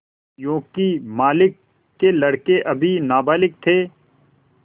योंकि मालिक के लड़के अभी नाबालिग थे